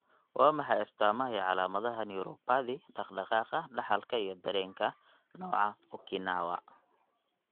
Waa maxay astamaha iyo calaamadaha Neuropathy, dhaqdhaqaaqa dhaxalka iyo dareenka, nooca Okinawa?